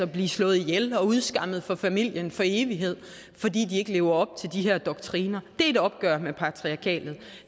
blive slået ihjel og udskammet fra familien for evigt fordi de ikke lever op til de her doktriner er et opgør med patriarkatet